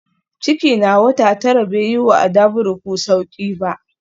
Ciki na wata tara bai yi wa Adavuruku sauƙi ba